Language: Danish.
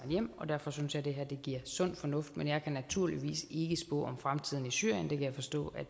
hjem og derfor synes jeg det her er sund fornuft men jeg kan naturligvis ikke spå om fremtiden i syrien det kan jeg forstå at